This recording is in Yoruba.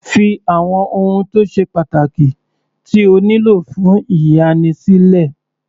Fí àwọn ohun tó ṣe pàtàkì tí o nílò fún ìyanni sílẹ̀.